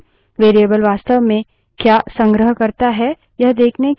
हम यहाँ अपने सभी प्रदर्शनों के लिए bash shell का उपयोग करेंगे